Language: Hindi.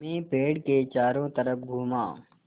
मैं पेड़ के चारों तरफ़ घूमा